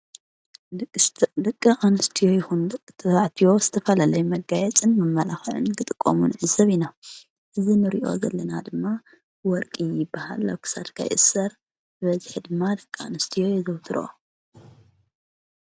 ደቂ ኣንስድዮ ይኹን ደቂ ተባዕትዮ ዝተፈለለየ መጋየፅን መመላኸዕን ክጥቆሙን ንዕዘብ ኢና፡፡ እዚ ንሪኦ ዘለና ወርቂ ይባሃል፡፡ ኣብ ክሳድካ ይእሰር ብበዝሒ ድማ ደቂ ኣንስትዮ የዘውትሮኦ፡፡